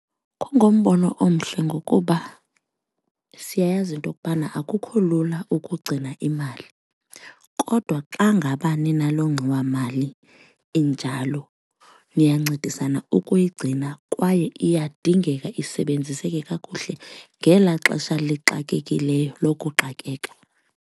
Kungumbono omhle ngokuba siyayazi into kubana akukho lula ukugcina imali, kodwa xa ngaba ninaloo ngxowamali injalo niyancedisana ukuyigcina kwaye iyadingeka isebenziseke kakuhle ngelaa xesha lixakekileyo lokuxakeka.